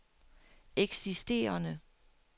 eksisterende